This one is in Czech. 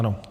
Ano.